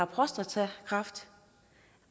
prostatakræft